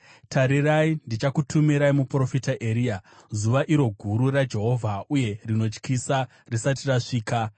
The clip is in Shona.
“Tarirai, ndichakutumirai muprofita Eria, zuva iro guru raJehovha, uye rinotyisa risati rasvika.